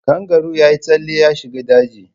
Kangaroo ya yi tsalle ya shiga daji.